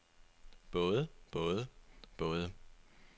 både både både